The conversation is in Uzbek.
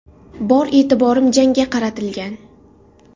Bor e’tiborim jangga qaratilgan.